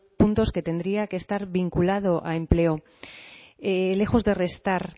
puntos que tendría que estar vinculado a empleo lejos de restar